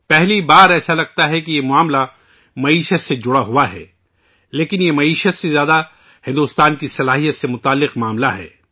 پہلی بار سننے میں لگتا ہے کہ یہ معاملہ معیشت سے جڑا ہوا ہے لیکن یہ معیشت سے زیادہ بھارت کی صلاحیت، بھارت کی اہلیت سے متعلق معاملہ ہے